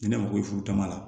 Ni ne mago bɛ furu t'a la